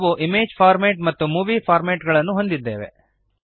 ನಾವು image format ಮತ್ತು movie format ಗಳನ್ನು ಹೊಂದಿದ್ದೇವೆ